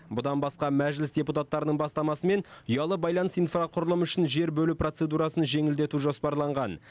бұдан басқа мәжіліс депутаттарының бастамасымен ұялы байланыс инфрақұрылым үшін жер бөлу процедурасын жеңілдету жоспарланған